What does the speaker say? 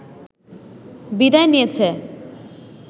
বিদায় নিয়েছে